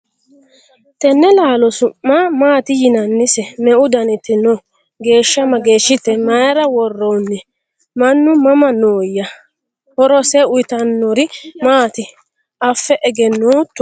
Tenne laallo su'ma maatti yinnannise? meu dannitti noo? geesha mageeshshitte? Mayiira woroonni? mannu mama nooya? horose uyiittannori Matti affe egenootto?